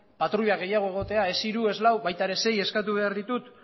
patruila gehiago egotea ez hiru ez lau baita ere sei eskatu behar ditut